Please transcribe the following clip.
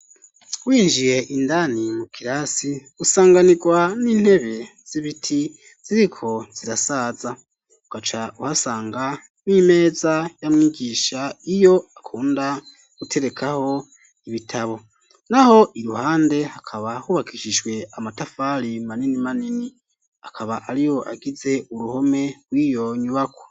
Winjiye indani, mu kirasi, usanganirwa n'intebe z'ibiti, ziriko zirasaza; ugaca uhasanga, n'imeza ya mwigisha, iyo akunda guterekaho, ibitabo; naho iruhande, hakaba hubakishijwe amatafari, manini manini; akaba ariyo, agize uruhome rw'iyo nyubakwa.